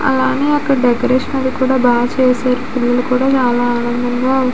అలానే అక్కడ డెకరేషన్ అది కూడా బా చేశారు. పిల్లలు కలుదా చాలా ఆనందంగా ఉన్--